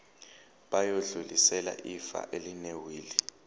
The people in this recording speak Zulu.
bayodlulisela ifa elinewili